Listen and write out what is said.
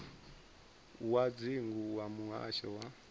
wa dzingu wa muhasho wa